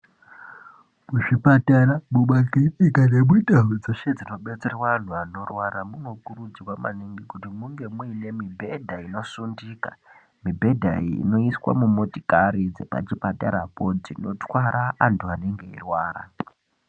Muzvipatara mumakirinika nemundau dzeshe dzinobetserwa antu anorwara munokurudzirwa maningi kuti munge muine mibhedha inosundika mibhedha iyi inoiswa mumotikari dzepachipatara poo dzinotwara antu anenge eirwara.